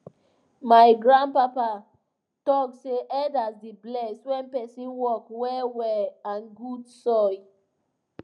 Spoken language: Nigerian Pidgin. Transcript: my grandpapa talk say elders dey bless when person work well well and good soil